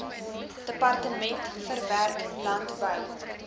departement verwerk landbou